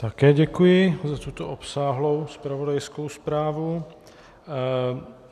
Také děkuji za tuto obsáhlou zpravodajskou zprávu.